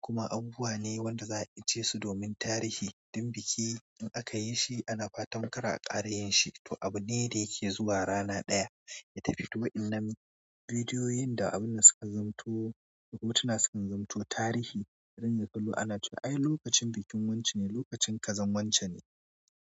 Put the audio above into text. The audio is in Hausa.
kuma abubuwa ne wanda za a aje su domin tarihi. Dan biki in aka yi shi a nafa tamkara a ƙarayin shi, to abu ne da yake zuwa rana ɗaya, ya tafi ta waƴannan bidiyoyin da abun da suka zamanto, hotuna suka zamanto tarihi. Dan ka zo ana cewa ai lokacin bikin wancane, lokacin kazan wancane.